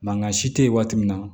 Mangan si te yen waati min na